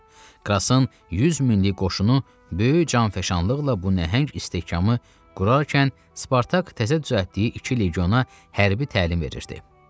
Krasın 100 minlik qoşunu böyük canfəşanlıqla bu nəhəng istehkamı qurarkən, Spartak təzə düzəltdiyi iki legiona hərbi təlim verirdi.